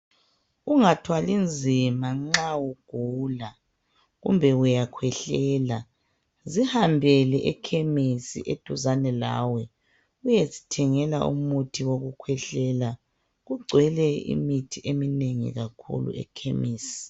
Ungathwali nzima nxa ugula. Kumbe uyakhwehlela. Zihambele ekhemesi eduzane lawe. Uyezithengela umuthi wokukhwehlela. Kugcwele imithi eminengi kakhulu ekhemesi.